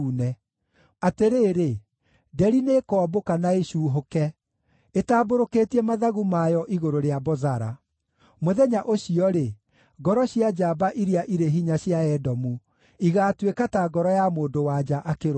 Atĩrĩrĩ! Nderi nĩĩkombũka na ĩcuuhũke, ĩtambũrũkĩtie mathagu mayo igũrũ rĩa Bozara. Mũthenya ũcio-rĩ, ngoro cia njamba iria irĩ hinya cia Edomu igaatuĩka ta ngoro ya mũndũ-wa-nja akĩrũmwo.